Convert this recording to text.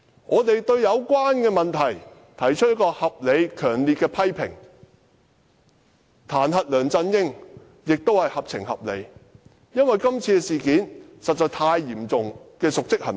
面對有關問題，我們提出合理和強烈的批評，而彈劾梁振英亦屬合情合理，因為這次事件涉及極為嚴重的瀆職行為。